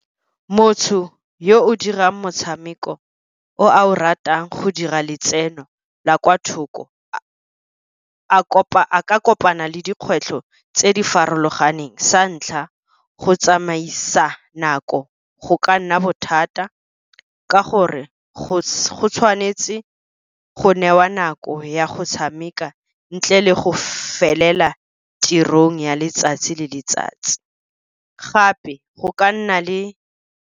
Motho yo o dirang motshameko o a o ratang go dira letseno la kwa thoko, a ka kopana le dikgwetlho tse di farologaneng. Sa ntlha go tsamaisa nako go ka nna bothata, ka gore go tshwanetse go newa nako ya go tshameka ntle le go felela tirong ya letsatsi le letsatsi. Gape go ka nna le.